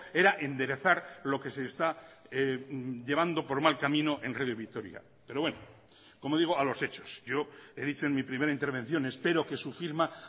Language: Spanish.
era enderezar lo que se está llevando por mal camino en radio vitoria pero bueno como digo a los hechos yo he dicho en mi primera intervención espero que su firma